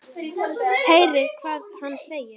Heyrið hvað hann segir.